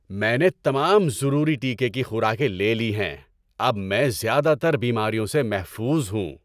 میں نے تمام ضروری ٹیکے کی خوراکیں لے لی ہیں۔ اب میں زیادہ تر بیماریوں سے محفوظ ہوں۔